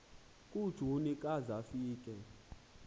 kujuni ka zafika